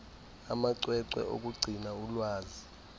amacwecwe okugcina ulwazi